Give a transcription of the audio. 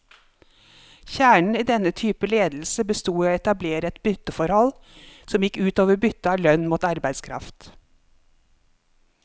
Kjernen i denne typen ledelse bestod i å etablere et bytteforhold, som gikk ut over byttet av lønn mot arbeidskraft.